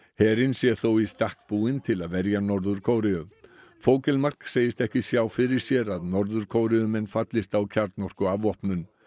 herinn sé þó í stakk búinn til að verja Norður Kóreu segist ekki sjá fyrir sér að Norður Kóreumenn fallist á kjarnorkuafvopnun